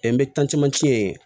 N bɛ ye